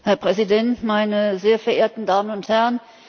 Herr Präsident, meine sehr verehrten Damen und Herren!